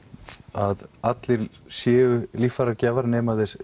að allir séu líffæragjafar nema þeir